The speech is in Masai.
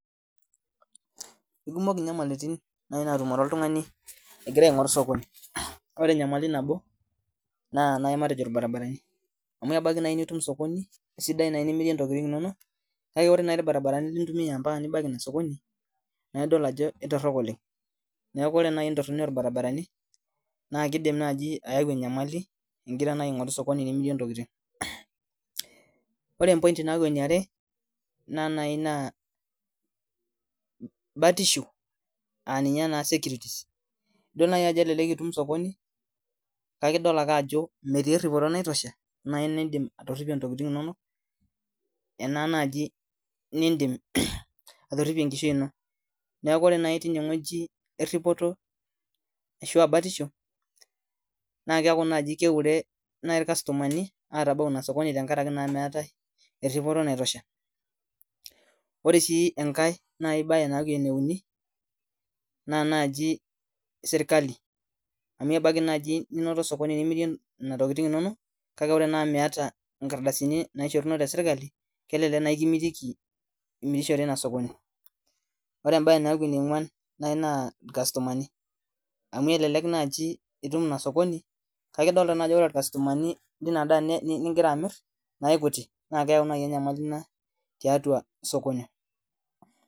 Kekumok nyamalitin naimaa oltungani aingoru osokoni na nai matejo matejo irbaribarani amu kelo ani nitum osokoni kake ore irbaribarani nintumia ambaka nibaki ilo sokoni na ketoronok oleng ingira aingoru osokoni limirie ntokitin oee empoint naaku eniarebnaa batisho naa idol naai ajo indim ainoto osokoni kake metii eripoto ontokitin inonok enaa najibnindim atiridie enkishui ino neaku ore nai inewueji eripoto ashu batisho na keaku nai keure irkastomani atabau ilo sokoni amu meeta batisho ore na empoint naaku eneuni na nani serkali amu ebaki nai ninoto osokoni mimirie ntokitin inonok kake ore nai miata nkardasini naishoruno teserkali ma kelek kimitiki iunisho ore enkae naa irkastomani amu elelek nai itum inasokoni na ore irkastomani lingira amiraki na kekuti neaku tiatua osokoni